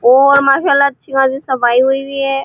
और मसाला अच्छा खासा हुई भी है।